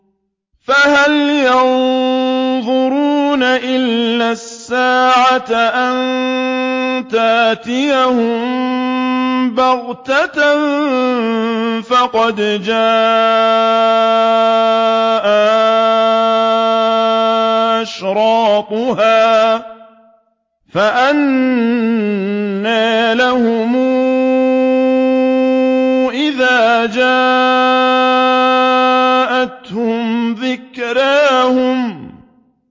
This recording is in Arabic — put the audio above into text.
فَهَلْ يَنظُرُونَ إِلَّا السَّاعَةَ أَن تَأْتِيَهُم بَغْتَةً ۖ فَقَدْ جَاءَ أَشْرَاطُهَا ۚ فَأَنَّىٰ لَهُمْ إِذَا جَاءَتْهُمْ ذِكْرَاهُمْ